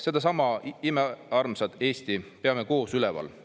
Sedasama imearmsat Eestit peame koos üleval!